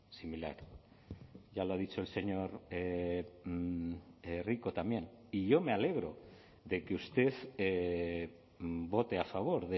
similar ya lo ha dicho el señor rico también y yo me alegro de que usted vote a favor